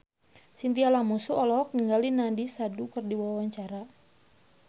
Chintya Lamusu olohok ningali Nandish Sandhu keur diwawancara